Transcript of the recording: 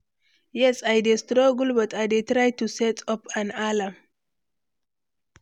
yes, i dey struggle but i dey try to set up an alarm.